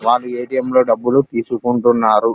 వాళ్ళు ఏ.టి.ఏం. లో డబ్బులు తీసుకుంటున్నారు.